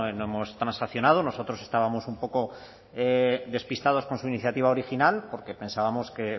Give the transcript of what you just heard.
no hemos transaccionado nosotros estábamos un poco despistados con su iniciativa original porque pensábamos que